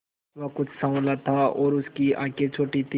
वह कुछ साँवला था और उसकी आंखें छोटी थीं